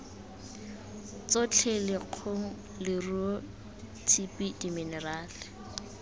tsotlhe lekgong leruo tshipi diminerale